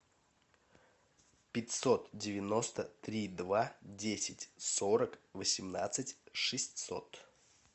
пятьсот девяносто три два десять сорок восемнадцать шестьсот